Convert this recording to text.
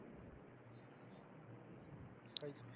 કયું?